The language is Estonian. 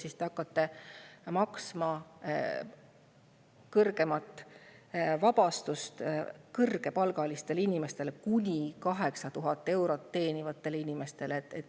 Aga te hakkate vabastust kõrgepalgalistele inimestele, kuni 8000 eurot teenivatele inimestele.